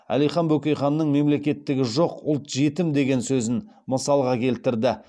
әлихан бөкейханның мемлекеттігі жоқ ұлт жетім деген сөзін мысалға келтірді